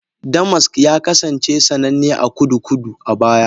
Damask ya kasance sananne a Kudu-kudu a baya.